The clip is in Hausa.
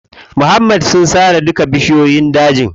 Muhammad sun sare duka bishiyoyin dajin.